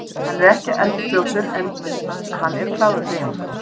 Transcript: Hann er ekki eldfljótur en hann er klár í hreyfingum.